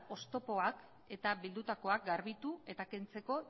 oztopoak eta bildutakoak garbitu eta kentzeko